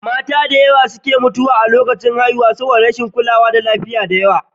Mata da dama ne ke mutuwa a lokacin haihuwa a baya saboda rashin kulawa da lafiya.